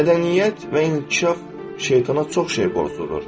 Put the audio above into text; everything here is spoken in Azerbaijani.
Mədəniyyət və inkişaf şeytana çox şey borcludur.